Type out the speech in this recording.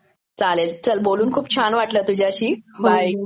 चालेल, बोलून खूप छान वाटलं तुझ्याशी. बाय